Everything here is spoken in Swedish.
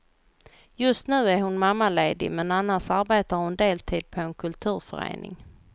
Just nu är hon mammaledig men annars arbetar hon deltid på en kulturförening.